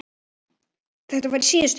Þetta var í síðustu viku.